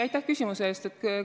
Aitäh küsimuse eest!